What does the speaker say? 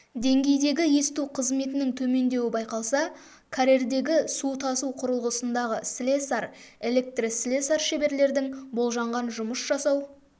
деңгейдегі есту қызметінің төмендеуі байқалса карьердегі су тасу құрылғысындағы слесарь электрослесарь шеберлердің болжанған жұмыс жасау